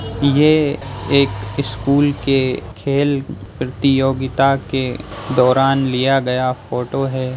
ये एक स्कूल के खेल प्रतियोगिता के दौरान लिया गया फोटो है।